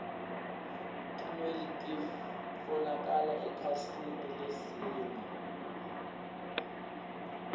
tinoueli titfolokala ekhasini lesine